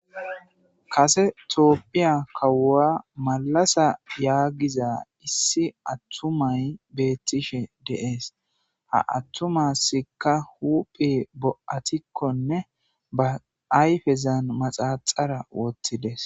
kase tooppiya kawuwa malasa yaagiza issi attumay beettishe de'es ha attumasikka huphi bo7atikkonne ba ayfezan maxaxara wottides.